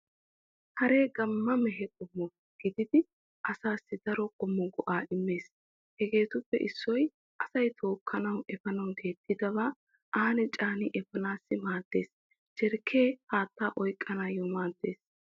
Haree gamma mehe qommo gididi asaassi daro qommo go'aa immees hegeetuppe issoy asay tokkanawu efaanawu deexxidabaa aani caani efaanawu maaddees. Jarkkee haattaa oykkanawu maaddees.